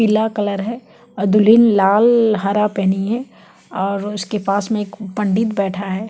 पीला कलर है और दुल्हन लाल हरा पहनी है और उसके पास में एक पंडित बैठा हैं।